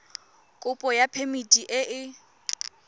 kopo ya phemiti e e